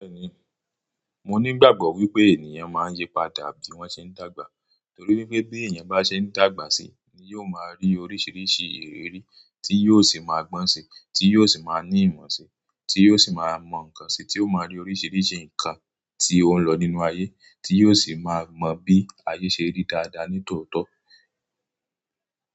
Bẹ́ẹ̀ni, mo ní ìgbàgbọ́ wípé ènìyàn máa ń yípadà bí wọ́n ṣe ń dàgbà torí pé bí èèyàn bá ṣe ń dàgbà sí, ni yóò máa rí oríṣiríṣi ìrírí tí yóò sì máa gbọ́n sí, tí yóò sì máa ní ìmọ̀ sí, tí yóò sì máa mọ̀ nǹkan si, tí ó máa rí oríṣiríṣi nǹkan tí ó ń lọ nínú ayé, tí yóò sì máa mo bí ayé ṣe rí dáadáa ní tòótọ́